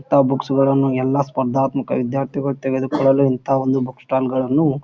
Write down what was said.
ಇಂತ ಬುಕ್ಸ್ ಗಳನ್ನೂ ಎಲ್ಲಾ ಸ್ಪರ್ಧಾತ್ಮಕ ವಿದ್ಯಾರ್ಥಿಗಳು ತೆಗೆದುಕೊಳ್ಳಲು ಇಂಥ ಒಂದು ಬುಕ್ ಸ್ಟಾಲ್ ಗಳನ್ನೂ --